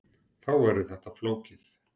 Þá verður þetta flókið.